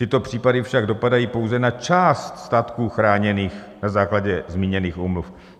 Tyto případy však dopadají pouze na část statků chráněných na základě zmíněných úmluv.